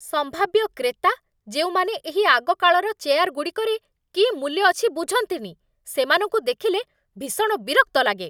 ସମ୍ଭାବ୍ୟ କ୍ରେତା, ଯେଉଁମାନେ ଏହି ଆଗକାଳର ଚେୟାରଗୁଡ଼ିକରେ କି ମୂଲ୍ୟ ଅଛି ବୁଝନ୍ତିନି, ସେମାନଙ୍କୁ ଦେଖିଲେ ଭୀଷଣ ବିରକ୍ତ ଲାଗେ।